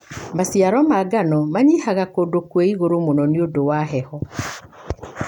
Maciaro ma mangano manyihaga kũndũ kwĩ ĩgũrũ mũno nĩũndũ wa heho.